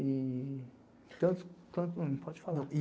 E... tanto pode falar.